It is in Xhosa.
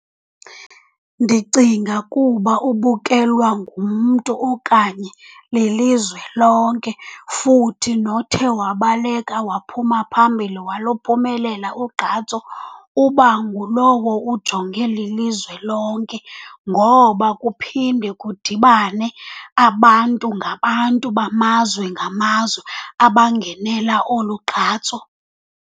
Ndicinga kuba ubukelwa ngumntu okanye lilizwe lonke, futhi nothe wabaleka waphuma phambili waluphumelela ugqatso uba ngulowo ujongwe lilizwe lonke. Ngoba kuphinde kudibane abantu ngabantu, bamazwe ngamazwe abangenela olu gqatso.